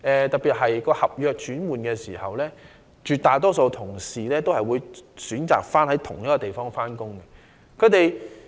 特別是，在轉換合約時，絕大多數員工皆會選擇在同一個地點上班。